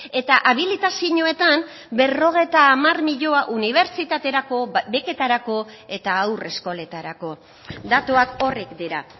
eta habilitazioetan berrogeita hamar milioi unibertsitaterako beketarako eta haur eskoletarako datuak horrek dira